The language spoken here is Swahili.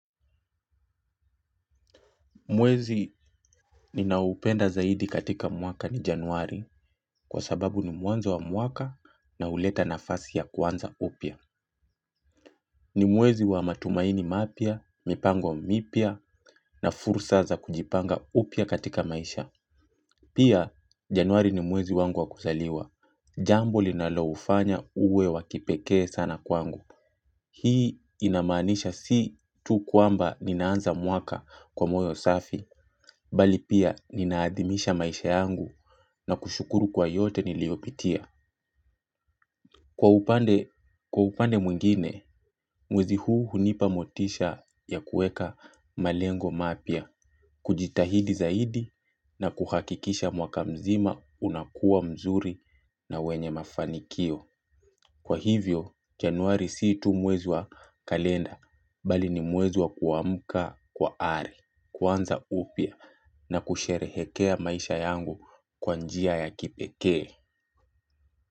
Mwezi ninaoupenda zaidi katika mwaka ni januari kwa sababu ni mwanzo wa mwaka na huleta nafasi ya kuanza upya. Ni mwezi wa matumaini mapya, mipango wa mipya na fursa za kujipanga upya katika maisha. Pia januari ni mwezi wangu wa kuzaliwa. Jambo linaloufanya uwe wakipekee sana kwangu. Hii inamaanisha si tu kwamba ninaanza mwaka kwa moyo safi mbali pia ninaadhimisha maisha yangu na kushukuru kwa yote niliopitia. Kwa upande mwingine, mwezi huu hunipa motisha ya kuweka malengo mapya, kujitahidi zaidi na kuhakikisha mwaka mzima unakuwa mzuri na wenye mafanikio. Kwa hivyo januari si tu mwezi wa kalenda mbali ni mwezi wa kuamka kwa ari kuanza upya na kusherehekea maisha yangu kwa njia ya kipekee.